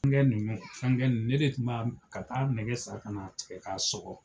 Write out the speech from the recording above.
Fɛn ninnu fɛnkɛ ne de tun bɛ taa nɛgɛ san ka n'a tigɛ k'a sɔgɔ